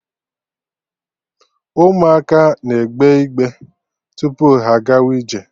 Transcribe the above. Ụmụaka na-egbe igbe tupu ha agawa ije